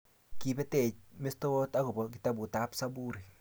Kibetech mestowot akobo kitabut ab Zaburi